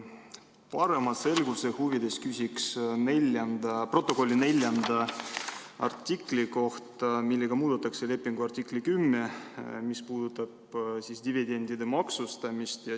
Parema selguse huvides küsin protokolli 4. artikli kohta, millega muudetakse lepingu artiklit 10, mis puudutab dividendide maksustamist.